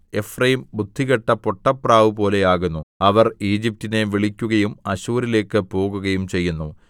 Ephraim ബുദ്ധികെട്ട പൊട്ടപ്രാവുപോലെ ആകുന്നു അവർ ഈജിപ്റ്റിനെ വിളിക്കുകയും അശ്ശൂരിലേക്ക് പോകുകയും ചെയ്യുന്നു